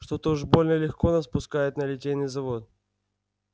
что-то уж больно легко нас пускают на литейный завод